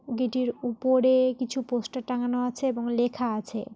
গেটের উপরে কিছু পোস্টার টাঙানো আছে এবং লেখা আছে।